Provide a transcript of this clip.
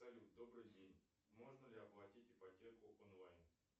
салют добрый день можно ли оплатить ипотеку онлайн